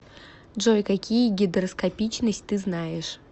джой какие гидроскопичность ты знаешь